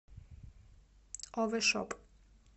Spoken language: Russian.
овер шоп